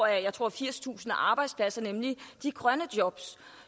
jeg tror firstusind arbejdspladser nemlig de grønne jobs